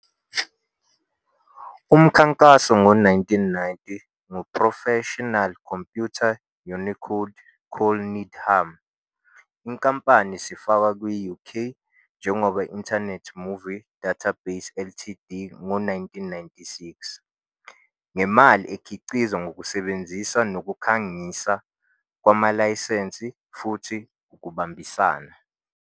Umkhankaso ngo-1990 ngu-professional computer Unicode Col Needham, inkampani sifakwa kwi-UK njengoba Internet Movie Database Ltd ngo 1996, nge imali ekhiqizwa ngokusebenzisa nokukhangisa, kwamalayisense, futhi ukubambisana.